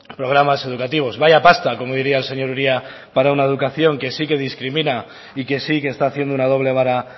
programas educativos vaya pasta como diría el señor uria para una educación que sí que discrimina y que sí que está haciendo una doble vara